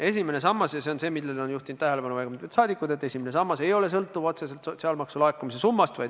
Esimene sammas – ja sellele on juhtinud tähelepanu väga mitmed saadikud – ei ole otseselt sõltuv sotsiaalmaksu laekumise summast.